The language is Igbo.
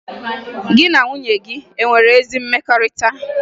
Gị na nwunye gị e nwere ezi mmekọrịta?